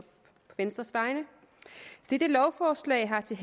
venstres vegne dette lovforslag har til